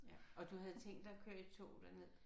Ja og du havde tænkt dig at køre i tog derned?